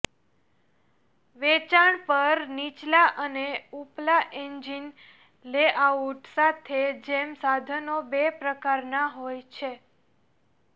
વેચાણ પર નીચલા અને ઉપલા એન્જિન લેઆઉટ સાથે જેમ સાધનો બે પ્રકારના હોય છે